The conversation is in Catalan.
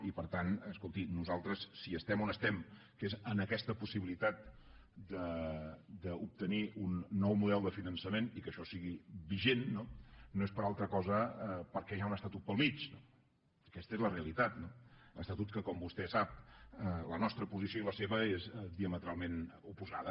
i per tant escolti nosaltres si estem on estem que és en aquesta possibilitat d’obtenir un nou model de finançament i que això sigui vigent no no és per altra cosa que perquè hi ha un estatut pel mig aquesta és la realitat estatut en què com vostè sap la nostra posició i la seva són diametralment oposades